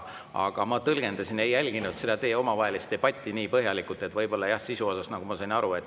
Aga ma ei jälginud seda teie omavahelist debatti nii põhjalikult ja võib-olla jah, tõlgendasin sisu.